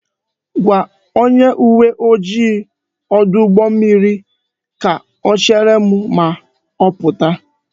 Gwa onye uwe ojii ọdụ ụgbọ mmiri ka o chere m ma ọ pụta